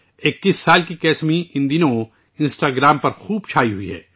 21 سالہ کسمی ان دنوں انسٹاگرام پر بہت زیادہ وائرل ہے